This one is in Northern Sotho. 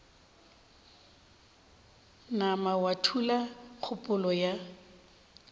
nama wa thula kgopolo ya